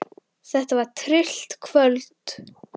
Þetta var tryllt kvöld.